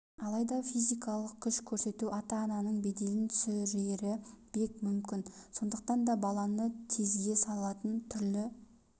алайда физикалық күш көрсету ата-ананың беделін түсірері бек мүмкін сондықтан да баланы тезге салатын түрлі